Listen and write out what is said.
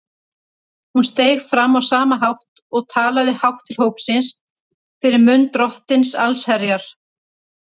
Hún steig fram á sama hátt og talaði hátt til hópsins fyrir munn Drottins allsherjar.